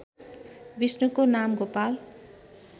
विष्णुको नाम गोपाल